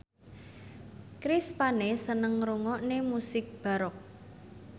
Chris Pane seneng ngrungokne musik baroque